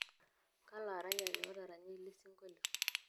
kalo aaranyani otaranya ele sinkolio